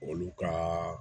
Olu ka